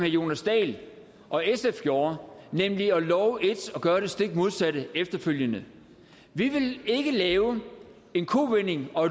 jonas dahl og sf gjorde nemlig at love et og gøre det stik modsatte efterfølgende vi vil ikke lave en kovending og